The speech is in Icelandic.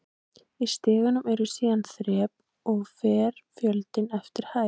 Í stiganum eru síðan þrep og fer fjöldinn eftir hæð.